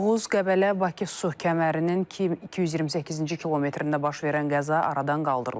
Oğuz Qəbələ Bakı su kəmərinin 228-ci kilometrində baş verən qəza aradan qaldırılıb.